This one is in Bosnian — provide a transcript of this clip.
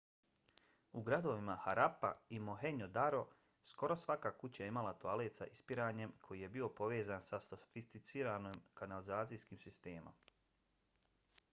u gradovima harappa i mohenjo-daro skoro svaka kuća imala je toalet s ispiranjem koji je bio povezan sa sofisticiranim kanalizacijskim sistemom